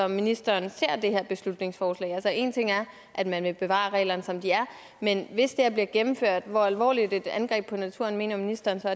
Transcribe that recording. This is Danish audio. ministeren ser det her beslutningsforslag som altså en ting er at man vil bevare reglerne som de er men hvis det her bliver gennemført hvor alvorligt et angreb på naturen mener ministeren så